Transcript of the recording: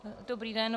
Dobrý den.